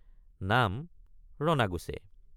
নাম ৰণাগুছে।